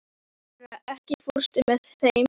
Hera, ekki fórstu með þeim?